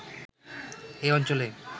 এই অঞ্চলে